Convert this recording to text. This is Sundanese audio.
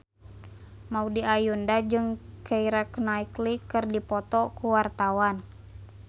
Maudy Ayunda jeung Keira Knightley keur dipoto ku wartawan